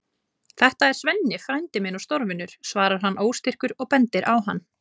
Þetta er Svenni frændi minn og stórvinur, svarar hann óstyrkur og bendir á hann.